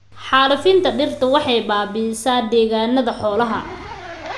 Xaalufinta dhirta waxay baabi'isaa degaannada xoolaha.